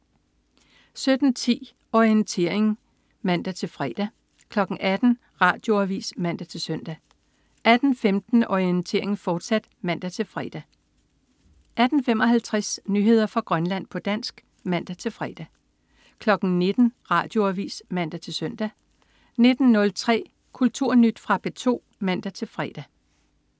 17.10 Orientering (man-fre) 18.00 Radioavis (man-søn) 18.15 Orientering, fortsat (man-fre) 18.55 Nyheder fra Grønland, på dansk (man-fre) 19.00 Radioavis (man-søn) 19.03 Kulturnyt. Fra P2 (man-fre)